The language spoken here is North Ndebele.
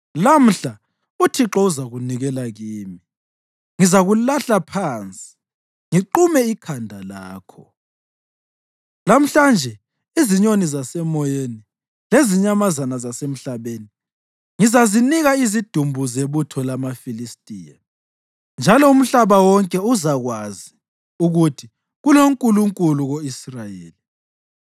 Lamhla uThixo uzakunikela kimi, ngizakulahla phansi ngiqume ikhanda lakho. Lamhlanje izinyoni zasemoyeni lezinyamazana zasemhlabeni ngizazinika izidumbu zebutho lamaFilistiya, njalo umhlaba wonke uzakwazi ukuthi kuloNkulunkulu ko-Israyeli.